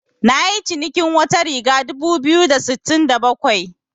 Nayi cinikin wata riga dubu biyu da sittin da bakwai.